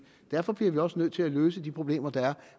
derfor bliver vi også nødt til at løse de problemer der er